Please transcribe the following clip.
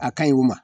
A ka ɲi wa